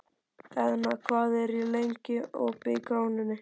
Eðna, hvað er lengi opið í Krónunni?